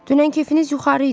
Dünən kefiniz yuxarı idi.